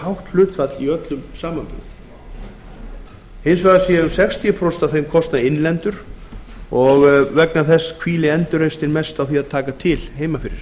hátt hlutfall í öllum samanburði hins vegar eru um sextíu prósent af þeim kostnaði innlend og þess vegna hvílir endurreisnin mest á því að taka til heima fyrir